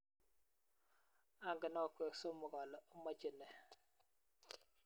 ongen akwek somok ale omache nee